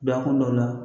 Bilakun dɔw la